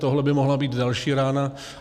Tohle by mohla být další rána.